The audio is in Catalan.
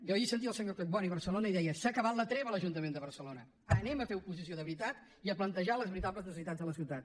jo ahir sentia el senyor collboni a barcelona i deia s’ha acabat la treva a l’ajuntament de barcelona anem a fer oposició de veritat i a plantejar les veritables necessitats de la ciutat